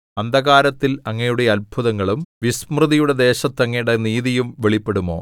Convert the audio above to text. അന്ധകാരത്തിൽ അങ്ങയുടെ അത്ഭുതങ്ങളും വിസ്മൃതിയുടെ ദേശത്ത് അങ്ങയുടെ നീതിയും വെളിപ്പെടുമോ